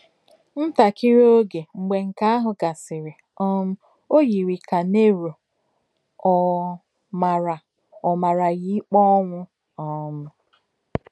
Ntákìrí ògé mgbè nké àhụ̀ gàsìrì, um ò yirì kà Nero ò màrá ò màrá yà íkpè ònwụ̀. um